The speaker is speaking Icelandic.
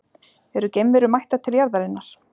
Eru geimverur mættar til jarðarinnar?